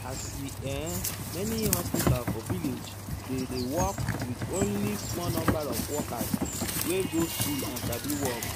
as in[um]many hospital for village dey dey work with only small number of workers wey go school and sabi work.